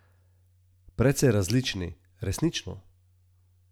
Precej različni, resnično.